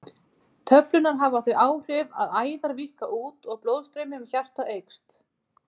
Töflurnar hafa þau áhrif að æðar víkka út og blóðstreymi um hjartað eykst.